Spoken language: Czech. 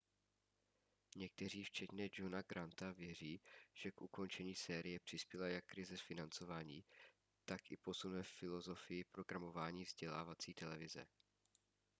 někteří včetně johna granta věří že k ukončení série přispěla jak krize financování tak i posun ve filozofii programování vzdělávací televize